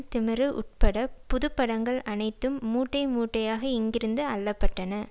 திமிரு உட்பட புதுப்படங்கள் அனைத்தும் மூட்டை மூட்டையாக இங்கிருந்து அள்ளப்பட்டன